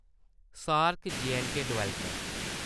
सार्क-जे and के development